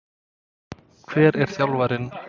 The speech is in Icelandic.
Hver var þjálfarinn?